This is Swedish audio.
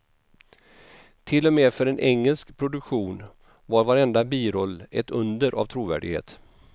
Till och med för en engelsk produktion var varenda biroll ett under av trovärdighet.